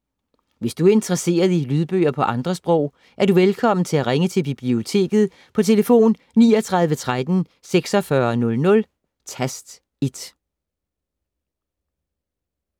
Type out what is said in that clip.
Hvis du er interesseret i lydbøger på andre sprog, er du velkommen til at ringe til Biblioteket på tlf. 39 13 46 00, tast 1.